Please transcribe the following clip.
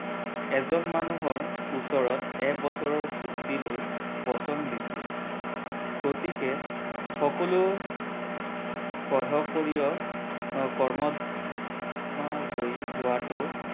এজন মানুহৰ ওচৰত এক বছৰৰ চুক্তি লৈ বচন দিছিল গতিকে সকলৈ সহ্য কৰিও মোকৰ্দমা জয়ি হোৱাটো